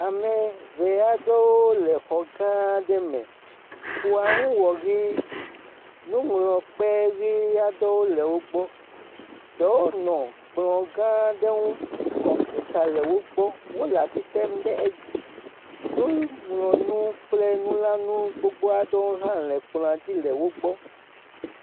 Ame ŋee aɖewo le xɔ gã aɖe me. Xɔa ŋu wɔ ʋi, nuŋlɔkpe ʋi aɖewo le wo gbɔ ɖewo nɔ kplɔ gã aɖe ŋu kɔmpita le wo gbɔ wole asi tem ɖe edzi, nuŋlɔnu kple nulãnu gbogbo aɖele wo gbe le kplɔa dzi.